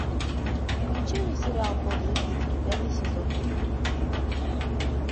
включи мне сериал подлый пит пятый сезон